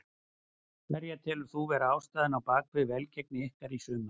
Hverja telur þú vera ástæðuna á bakvið velgengni ykkar í sumar?